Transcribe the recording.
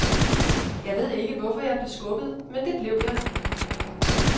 Jeg ved ikke, hvorfor jeg blev skubbet, men det blev jeg.